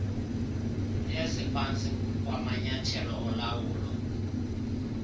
eziphantsi kwamanyathelo olawulo